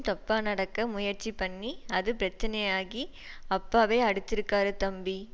தப்பா நடக்க முயற்சி பண்ணி அது பிரச்சனையாகி அப்பாவை அடிச்சிருக்காரு தம்பி